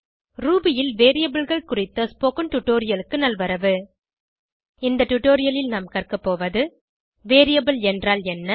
Ruby ல் Variableகள் குறித்த ஸ்போகன் டுடோரியலுக்கு நல்வரவு இந்த டுடோரியலில் நாம் கற்கபோவது வேரியபிள் என்றால் என்ன